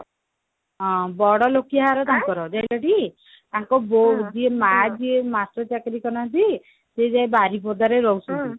ହଁ ବଡ ଲୋକିଆ ଘର ତାଙ୍କର ଜାଣିଛ ଟି ତାଙ୍କ ବୋଉ ଯିଏ ମା ଯିଏ master ଚାକିରି କରନ୍ତି ସେ ଯାଇ ବାରିପଦା ରେ ରହୁଛନ୍ତି